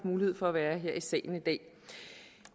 mulighed for at være her i salen i dag